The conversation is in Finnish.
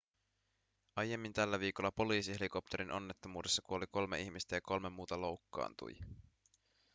aiemmin tällä viikolla poliisihelikopterin onnettomuudessa kuoli kolme ihmistä ja kolme muuta loukkaantui